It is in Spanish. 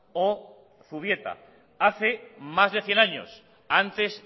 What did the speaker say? o zubieta hace más de cien años antes